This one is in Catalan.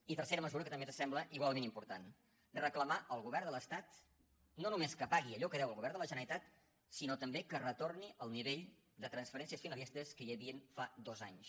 i tercera mesura que també ens sembla igualment important reclamar al govern de l’estat no només que pagui allò que deu al govern de la generalitat sinó també que retorni al nivell de transferències finalistes que hi havia fa dos anys